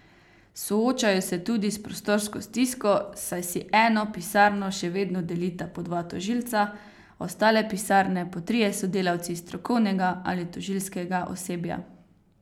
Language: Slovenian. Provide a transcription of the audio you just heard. Soočajo se tudi s prostorsko stisko, saj si eno pisarno še vedno delita po dva tožilca, ostale pisarne po trije sodelavci strokovnega ali tožilskega osebja.